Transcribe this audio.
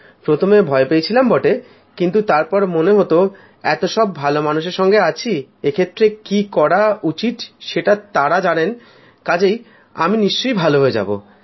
প্রথমে ভয় পেয়েছিলাম বটে কিন্তু তারপরে মনে হত এতসব ভালোমানুষের সঙ্গে আছি এক্ষেত্রে কী করা উচিত সেটা তাঁরা জানেন কাজেই আমি নিশ্চয়ই ভালো হয়ে যাব